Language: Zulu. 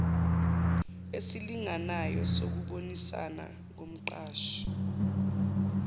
esilinganayo sokubonisana nomqashi